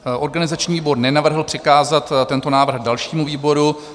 Organizační výbor nenavrhl přikázat tento návrh dalšímu výboru.